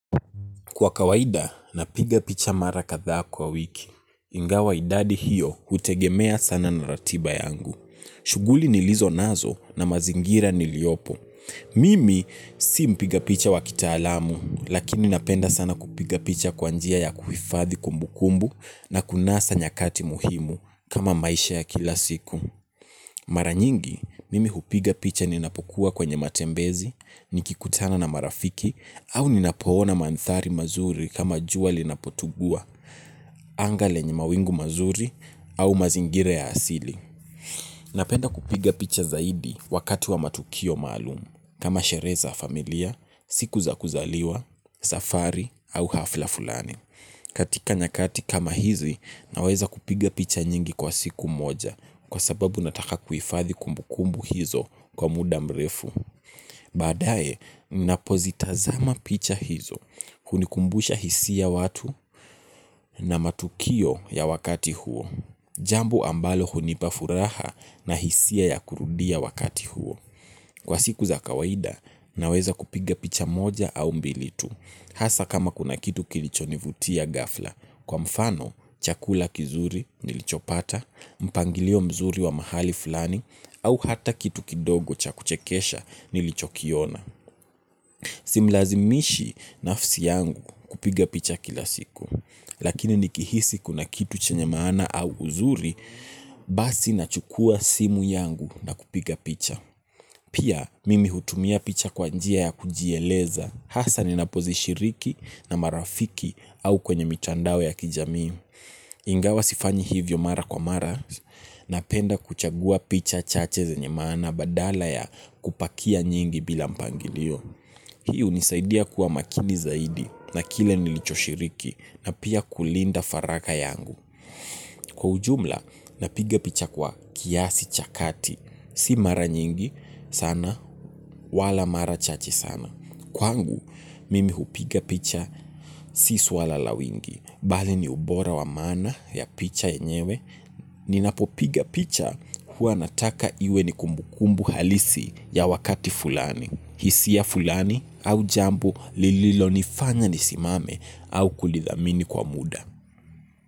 Kwa kawaida, napiga picha mara kadhaa kwa wiki. Ingawa idadi hiyo, hutegemea sana na ratiba yangu. Shuguli nilizo nazo na mazingira niliopo. Mimi, si mpiga picha wakitaalamu, lakini napenda sana kupiga picha kwa njia ya kuhifadhi kumbukumbu na kunasa nyakati muhimu, kama maisha ya kila siku. Mara nyingi, mimi hupiga picha ninapokua kwenye matembezi, nikikutana na marafiki, au ninapoona mandhari mazuri kama jua linapotugua, anga lenye mawingu mazuri, au mazingira ya asili. Napenda kupiga picha zaidi, wakati wa matukio maalumu, kama sherehe za familia, siku za kuzaliwa, safari au hafla fulani. Katika nyakati kama hizi, naweza kupiga picha nyingi kwa siku moja, kwa sababu nataka kuhifadhi kumbukumbu hizo kwa muda mrefu. Baadae, napozitazama picha hizo, hunikumbusha hisi ya watu na matukio ya wakati huo. Jambo ambalo hunipa furaha na hisia ya kurudia wakati huo. Kwa siku za kawaida, naweza kupiga picha moja au mbili tu, hasa kama kuna kitu kilichonivutia ghafla, kwa mfano, chakula kizuri nilichopata, mpangilio mzuri wa mahali flani au ata kitu kidogo cha kuchekesha nilichokiona. Simlazimishi, nafsi yangu, kupiga picha kila siku. Lakini nikihisi kuna kitu chenye maana au uzuri, basi nachukua simu yangu na kupiga picha. Pia, mimi hutumia picha kwa njia ya kujieleza, hasa ninapozishiriki na marafiki au kwenye mitandao ya kijamii. Ingawa sifanyi hivyo mara kwa mara, napenda kuchagua picha chache zenye maana badala ya kupakia nyingi bila mpangilio. Hii unisaidia kuwa makini zaidi na kile nilicho shiriki na pia kulinda faraka yangu. Kwa ujumla, napiga picha kwa kiasi cha kati. Si mara nyingi, sana, wala mara chache sana. Kwangu, mimi hupiga picha, si swala la wingi. Bali ni ubora wa maana ya picha yenyewe. Ninapopiga picha, hua nataka iwe ni kumbukumbu halisi ya wakati fulani. Hisia fulani au jambo lililo nifanya nisimame au kulidhamini kwa muda.